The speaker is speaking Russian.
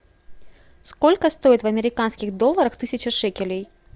сколько стоит в американских долларах тысяча шекелей